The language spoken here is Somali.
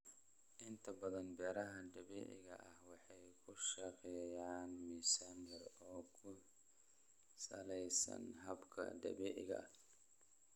Inta badan beeraha dabiiciga ah waxay ku shaqeeyaan miisaan yar, oo ku salaysan hababka dabiiciga ah.